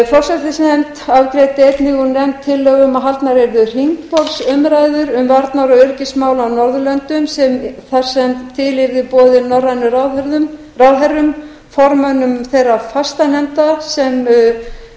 forsætisnefnd afgreiddi einnig úr nefnd tillögu um að haldnar yrðu hringborðsumræður um varnar og öryggismál á norðurlöndum þar sem til yrði boðið norrænum ráðherrum formönnum þeirra